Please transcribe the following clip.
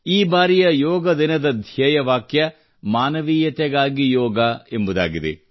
ಈ ಬಾರಿಯ ಯೋಗ ದಿನದ ಧ್ಯೇಯ ವಾಕ್ಯ ಮಾನವೀಯತೆಗಾಗಿ ಯೋಗ ಎಂಬುದಾಗಿದೆ